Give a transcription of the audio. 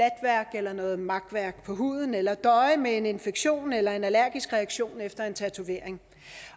eller noget makværk på huden eller døje med en infektion eller en allergisk reaktion efter en tatovering